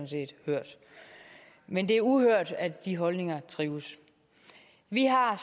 set hørt men det er uhørt at de holdninger trives vi har